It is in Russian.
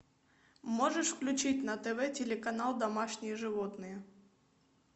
можешь включить на тв телеканал домашние животные